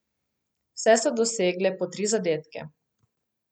Vse so dosegle po tri zadetke.